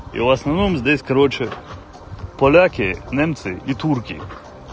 и в основном здесь короче поляки немцы и турки